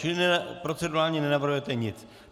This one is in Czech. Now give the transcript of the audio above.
Čili procedurálně nenavrhujete nic.